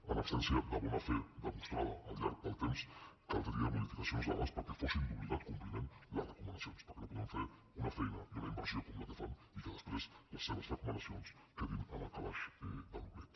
en absència de bona fe demostrada al llarg del temps caldrien modificacions legals perquè fossin d’obligat compliment les recomanacions el que no podem fer una feina i una inversió com la que fan i que després les seves recomanacions quedin en el calaix de l’oblit